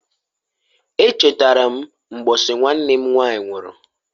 E chatara m mbosi nwanne m nwanyị nwụru.